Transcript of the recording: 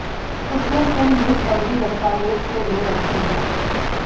उसने सिम भी फर्जी दस्तावेज से ले रखी हैं